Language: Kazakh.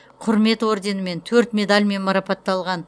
құрмет орденімен төрт медальмен марапатталған